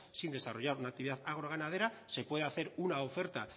sin desarrollar una actividad agro ganadera se puede hacer una oferta